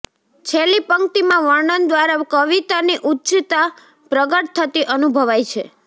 છેલ્લી પંક્તિમાં વર્ણન દ્વારા કવિતાની ઉચ્ચતા પ્રગટ થતી અનુભવાય છે